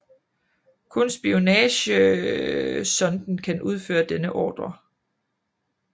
Kun spionagesonden kan udføre denne ordre